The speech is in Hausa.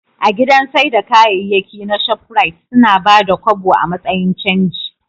A gidan saida kayayyaki na shoprite, suna Bada kobo a matsayin canji